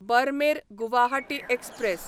Barmer Guwahati express